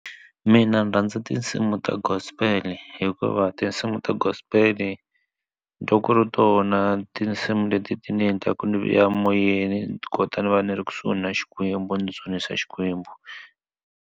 Mina ndzi rhandza tinsimu ta gospel hikuva tinsimu ta gospel ntwa ku ri tona tinsimu leti ti ni endlaka ni ya moyeni ti kota ni va ni ri kusuhi na xikwembu ni dzunisa xikwembu.